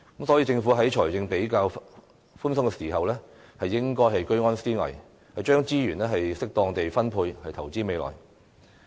所以，政府在財政比較寬鬆時應該居安思危，將資源適當地分配，投資未來。